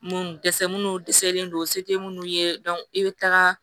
Munnu dɛsɛ munnu dɛsɛlen don u se tɛ minnu ye i bɛ taga